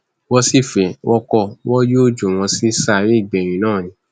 wọn sì fẹ wọn kó wọn yóò jù wọn sí sàréè gbẹyìn náà ni